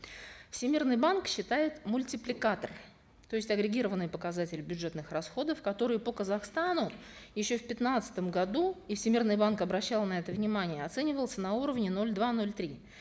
всемирный банк считает мультипликатор то есть агрегированный показатель бюджетных расходов которые по казахстану еще в пятнадцатом году и всемирный банк обращал на это внимание оценивался на уровне ноль два ноль три